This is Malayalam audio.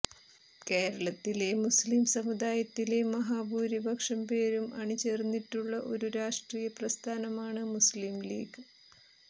കേരളത്തിലെ മുസ്ലിം സമുദായത്തിലെ മഹാഭൂരിപക്ഷം പേരും അണിചേർന്നിട്ടുള്ള ഒരു രാഷ്ട്രീയ പ്രസ്ഥാനമാണ് മുസ്ലിം ലീഗ്